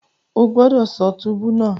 O gbọdọ ṣọ túbú náà!